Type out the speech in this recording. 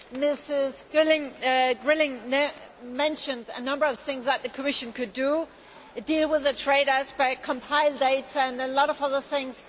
Ms Girling mentioned a number of things that the Commission could do such as deal with the trade aspect, compile data and a lot of other things.